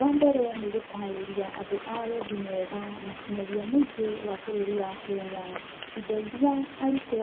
Wambere nĩgũtarĩria andũ a wendi mwega na nginyagia mũingĩ wa bũrũri wa Kenya indo ĩria arutwo